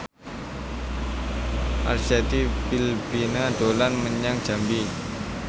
Arzetti Bilbina dolan menyang Jambi